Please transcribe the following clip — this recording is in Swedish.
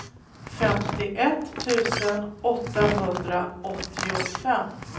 femtioett tusen åttahundraåttiofem